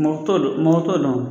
Mɔtɔ t'o mɔgɔ t'o dɔn